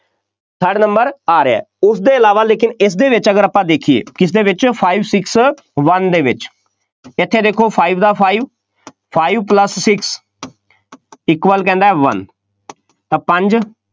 third number ਆ ਰਿਹਾ, ਉਸਦੇ ਇਲਾਵਾ ਲੇਕਿਨ ਇਸਦੇ ਵਿੱਚ ਅਗਰ ਆਪਾਂ ਦੇਖੀਏ, ਕਿਸਦੇ ਵਿੱਚ five six one ਦੇ ਵਿੱਚ, ਇੱਥੇ ਦੇਖੋ five ਦਾ five five plus six equal ਕਹਿੰਦਾ ਹੈ one ਤਾਂ ਪੰਜ,